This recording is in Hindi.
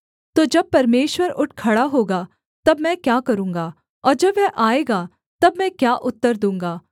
तो जब परमेश्वर उठ खड़ा होगा तब मैं क्या करूँगा और जब वह आएगा तब मैं क्या उत्तर दूँगा